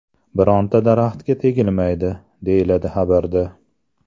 Bironta daraxtga tegilmaydi”, deyiladi xabarda.